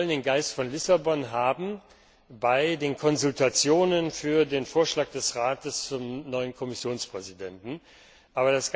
Wir wollen den Geist von Lissabon bereits bei den Konsultationen für den Vorschlag des Rates zum neuen Kommissionspräsidenten haben.